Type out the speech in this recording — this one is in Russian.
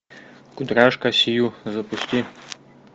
кудряшка сью запусти